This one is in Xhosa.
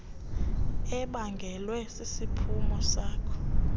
ebangelwe sisiphumo sako